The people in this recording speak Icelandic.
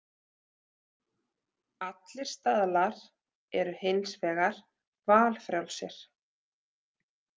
Allir staðlar eru hins vegar valfrjálsir.